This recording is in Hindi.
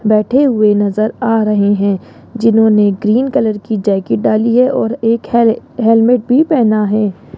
बैठे हुए नजर आ रहे हैं जिन्होंने ग्रीन कलर की जैकेट डाली है और एक हे हेलमेट भी पहना है।